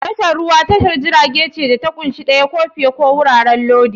Tashar ruwa tashar jiragen ce da ta ƙunshi ɗaya ko fiye ko wuraren lodi.